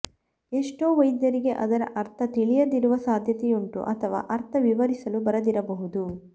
ಎಷ್ಟೋ ವೈದ್ಯರಿಗೆ ಅದರ ಅರ್ಥ ತಿಳಿಯದಿರುವ ಸಾಧ್ಯತೆಯುಂಟು ಅಥವಾ ಅರ್ಥ ವಿವರಿಸಲು ಬರದಿರಬಹುದು